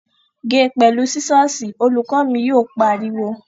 Ge pẹ̀lú sísọ̀sì! Olùkọ́ mi yóò pariwo